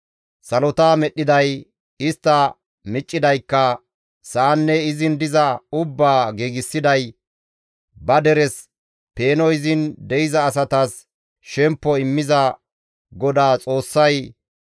Salota medhdhiday, istta miccidaykka, sa7anne izin diza ubbaa giigsiday, ba deres peeno izin de7iza asatas shemppo immiza GODAA Xoossay,